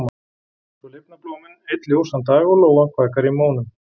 Svo lifna blómin einn ljósan dag og lóan kvakar í mónum.